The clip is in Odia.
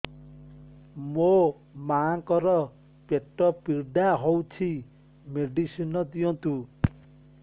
ମୋ ମାଆଙ୍କର ପେଟ ପୀଡା ହଉଛି ମେଡିସିନ ଦିଅନ୍ତୁ